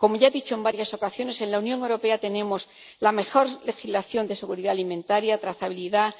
Como ya he dicho en varias ocasiones, en la Unión Europea tenemos la mejor legislación de seguridad alimentaria, trazabilidad,